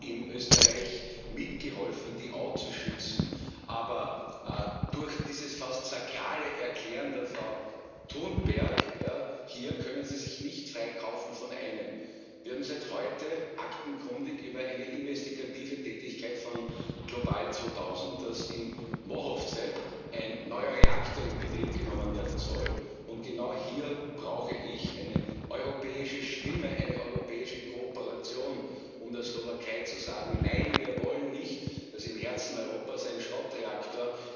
in Österreich mitgeholfen, die Au zu schützen, aber durch dieses fast sakrale Erklären der Frau Thunberg hier können Sie sich nicht freikaufen von einem Wir haben seit heute aktenkundig, über eine investigative Tätigkeit von Global 2000, dass in Mochovce ein neuer Reaktor in Betrieb genommen werden soll. Und genau hier brauche ich eine europäische Stimme, eine europäische Kooperation, um der Slowakei zu sagen Nein, wir wollen nicht, dass im Herzen Europas ein Schrottreaktor